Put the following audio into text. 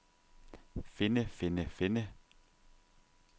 finde finde finde